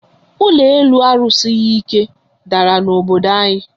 Ụlọ elu a rusighi ike dàrà na obodo anyi